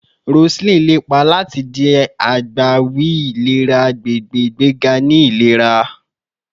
Roseline lepa lati di agbawi ilera agbegbe, igbega ni ilera